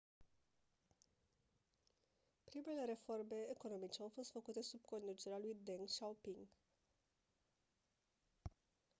primele reforme economice au fost făcute sub conducerea lui deng xiaoping